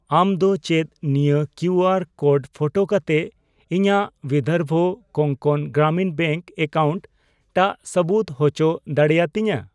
ᱟᱢ ᱫᱚ ᱪᱮᱫ ᱱᱤᱭᱟᱹ ᱠᱤᱭᱩᱟᱨ ᱠᱳᱰᱯᱷᱳᱴᱳ ᱠᱟᱛᱮ ᱤᱧᱟᱜ ᱵᱤᱫᱷᱚᱨᱵᱚ ᱠᱳᱝᱠᱚᱱ ᱜᱨᱟᱢᱤᱱ ᱵᱮᱝᱠ ᱮᱠᱟᱣᱩᱱᱴ ᱴᱟᱜ ᱥᱟᱹᱵᱩᱫ ᱩᱪᱚ ᱫᱟᱲᱮᱭᱟᱹᱛᱤᱧᱟ ?